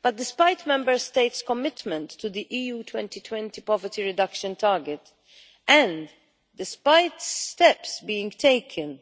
But, despite Member States' commitment to the Europe 2020 poverty reduction target and despite steps being taken